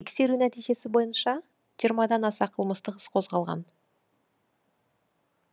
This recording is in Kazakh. тексеру нәтижесі бойынша жиырмадан аса қылмыстық іс қозғалған